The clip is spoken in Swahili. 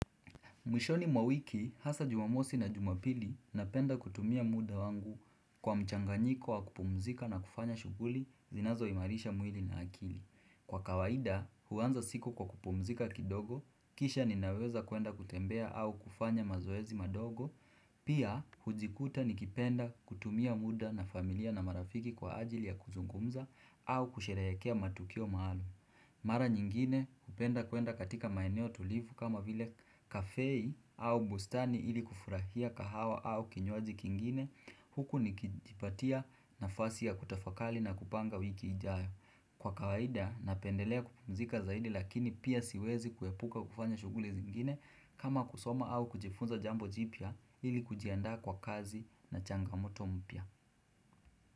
Mwishoni mwa mwiki, hasa jumamosi na jumapili, napenda kutumia muda wangu kwa mchanganyiko wa kupumzika na kufanya shughuli zinazoimarisha mwili na akili. Kwa kawaida, huanza siku kwa kupumzika kidogo, kisha ninaweza kuenda kutembea au kufanya mazoezi madogo, pia hujikuta nikipenda kutumia muda na familia na marafiki kwa ajili ya kuzungumza au kusherehekea matukio maalum. Mara nyingine hupenda kuenda katika maeneo tulivu kama vile kafei au bustani ili kufurahia kahawa au kinywaji kingine huku nikijipatia nafasi ya kutafakali na kupanga wiki ijayo. Kwa kawaida napendelea kupumzika zaidi lakini pia siwezi kuepuka kufanya shughuli zingine kama kusoma au kujifunza jambo jipya ili kujiandaa kwa kazi na changamoto mpya.